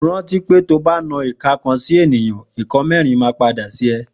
Rànti pẹ tọbà nàkà kàn si ẹniyàn, ìká mẹrin mà pàdé sí ẹ.